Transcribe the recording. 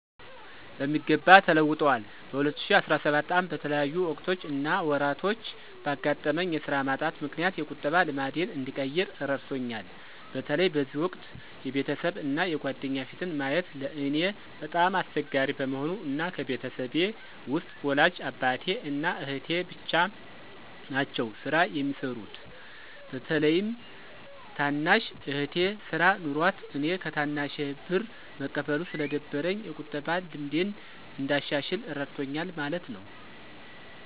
በሚገባ ተለውጠዋል። በ2017 ዓ/ም በተለያዩ ወቅቶች እና ወራቶች ባጋጠመኝ የስራ ማጣት ምክንያት የቁጠባ ልማዴን እንድቀይር እረድቶኛል። በተለይ በዚህ ወቅት የቤተሰብ እና የጓደኛ ፊትን ማየት ለእኔ በጣም አስቸጋሪ በመሆኑ እና ከቤተሰቤ ውስጥ ወላጅ አባቴ እና አህቴ ብቻ ናቸው ስራ የሚሰሩት። በተለይም ታናሽ እህቴ ስራ ኖሯት እኔ ከታናሼ ብር መቀበሉ ስለደበረኝ የቁጠባን ልምዴን እንዳሻሽል እረድቶኛል ማለት ነው።